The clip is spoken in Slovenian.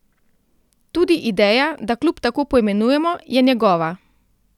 Tudi ideja, da klub tako poimenujemo, je njegova.